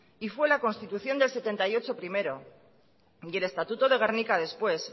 y fue la constitución del setenta y ocho primero y el estatuto de gernika después